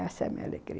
Essa é a minha alegria.